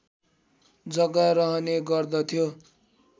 जग्गा रहने गर्दथ्यो